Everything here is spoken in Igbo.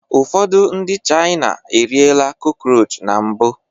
Ụfọdụ ndị China eriela crockroach na mbụ